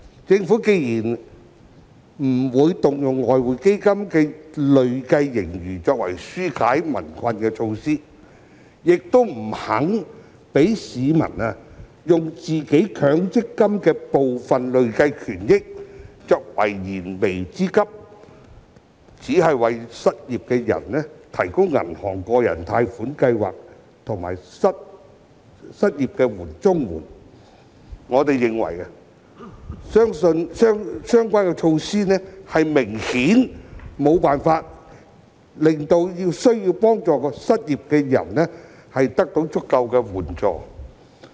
政府既不願動用外匯基金的累計盈餘推出紓解民困的措施，亦不肯讓市民利用自己強積金戶口的部分累計權益以解燃眉之急，只為失業人士提供銀行的百分百擔保個人特惠貸款計劃和失業綜援，我們認為這些措施顯然無法令需要幫助的失業人士得到足夠援助。